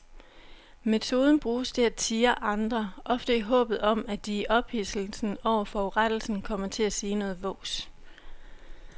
Metoden bruges til at tirre andre, ofte i håbet om at de i ophidselsen over forurettelsen kommer til at sige noget vås.